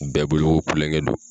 Bɛɛ bolo ko kulonkɛ don.